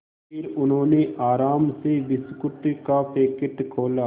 फिर उन्होंने आराम से बिस्कुट का पैकेट खोला